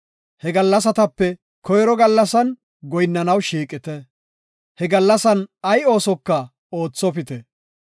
He gallasatape koyro gallasan goyinnanaw shiiqite; he gallasan ay oosoka oothopite.